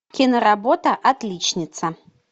киноработа отличница